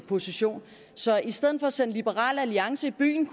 position så i stedet for at sende liberal alliance i byen